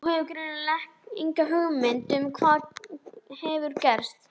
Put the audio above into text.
Þú hefur greinilega enga hugmynd um hvað hefur gerst.